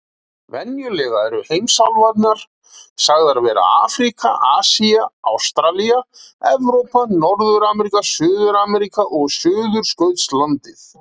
Venjulega eru heimsálfurnar sagðar vera Afríka, Asía, Ástralía, Evrópa, Norður-Ameríka, Suður-Ameríka og Suðurskautslandið.